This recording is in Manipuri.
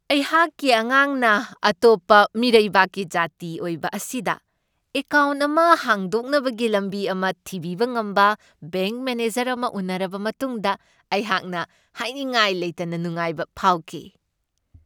ꯑꯩꯍꯥꯛꯀꯤ ꯑꯉꯥꯡꯅ ꯑꯇꯣꯞꯞ ꯃꯤꯔꯩꯕꯥꯛꯀꯤ ꯖꯥꯇꯤ ꯑꯣꯏꯕ ꯑꯁꯤꯗ ꯑꯦꯀꯥꯎꯟ ꯑꯃ ꯍꯥꯡꯗꯣꯛꯅꯕꯒꯤ ꯂꯝꯕꯤ ꯑꯃ ꯊꯤꯕꯤꯕ ꯉꯝꯕ ꯕꯦꯡꯛ ꯃꯦꯅꯦꯖꯔ ꯑꯃ ꯎꯅꯔꯕ ꯃꯇꯨꯡꯗ ꯑꯩꯍꯥꯛꯅ ꯍꯥꯏꯅꯤꯡꯉꯥꯏ ꯂꯩꯇꯅ ꯅꯨꯡꯉꯥꯏꯕ ꯐꯥꯎꯈꯤ ꯫